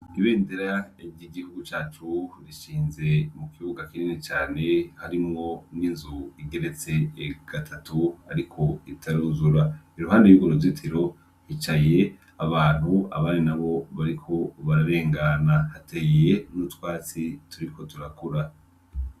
Ibendera ryigihugu cacu rishinze mukibuga kinini cane harimwo n'inzu igeretse gatatu ariko itaruzura iruhande yurwo ruzitiro hicaye abantu abandi nabo bariko bararengana hateye nutwatsi turiko turakura.